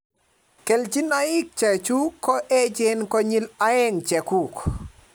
kelchinoik che chuk ko echen konyil aeng' cheguk